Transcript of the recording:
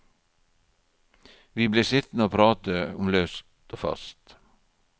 Vi ble sittende og prate om løst og fast.